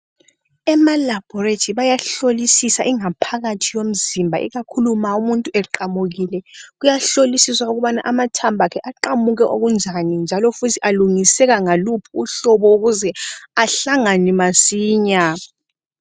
EmaLaboratory kuyahlolisisa ingaphakathi yomzimba. Ikakhulu ma umuntu eqamukile. Kuyahlolisisa ukuthi amathambo akhe aqamuke okunjani, njalo futhi alungisiseka ngaluphi uhlobo. Ukuze ahlangane masinya.